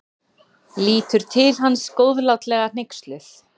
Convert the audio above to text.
Lítur til hans góðlátlega hneyksluð.